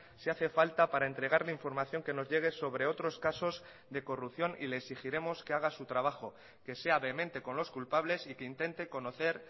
si hace falta para entregarle información que nos llegue sobre otros casos de corrupción y le exigiremos que haga su trabajo que sea vehemente con los culpables y que intente conocer